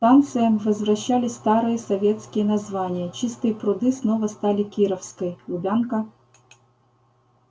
станциям возвращали старые советские названия чистые пруды снова стали кировской лубянка